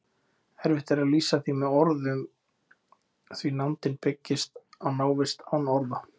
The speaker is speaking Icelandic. Erfitt er að lýsa því með orðum því nándin byggist á návist án orða.